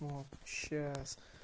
вот сейчас